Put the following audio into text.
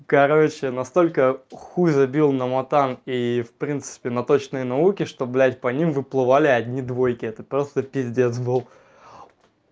короче настолько хуй забил на матан и в принципе на точные науки что блядь по ним выплывали одни двойки это просто пиздец был